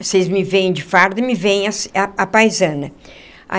Vocês me veem de farda e me veem a a à paisana.